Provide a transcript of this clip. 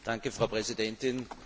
Danke, Frau Präsidentin!